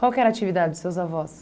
Qual que era a atividade dos seus avós?